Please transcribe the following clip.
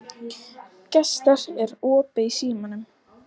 Gestar, er opið í Símanum?